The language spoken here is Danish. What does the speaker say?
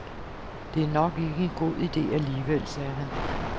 Det er nok ikke en god ide alligevel, sagde han.